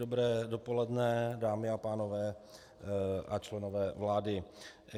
Dobré dopoledne, dámy a pánové a členové vlády.